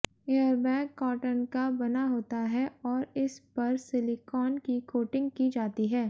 airbag cotton का बना होता है और इस पर सिलिकॉन की कोटिंग की जाती है